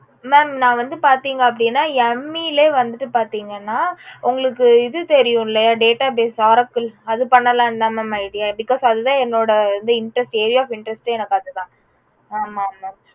mam